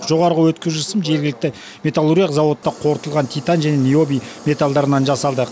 жоғары өткізгіш сым жергілікті металлургиялық зауытта қорытылған титан және ниоби металдарынан жасалды